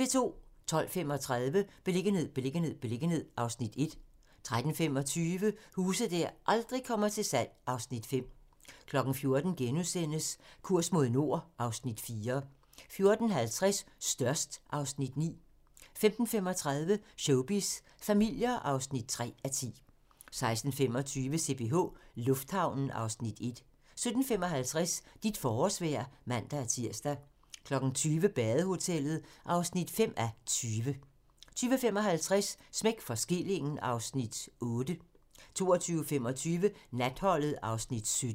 12:35: Beliggenhed, beliggenhed, beliggenhed (Afs. 1) 13:25: Huse der aldrig kommer til salg (Afs. 5) 14:00: Kurs mod nord (Afs. 4)* 14:50: Størst (Afs. 9) 15:35: Showbiz familier (3:10) 16:25: CPH Lufthavnen (Afs. 1) 17:55: Dit forårsvejr (man-tir) 20:00: Badehotellet (5:20) 20:55: Smæk for skillingen (Afs. 8) 22:25: Natholdet (Afs. 17)